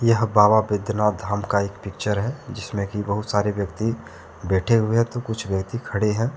यह बाबा बैजनाथ धाम का एक पिक्चर है जिसमें की बहुत सारे व्यक्ति बैठे हुए हैं तो कुछ व्यक्ति खड़े हैं।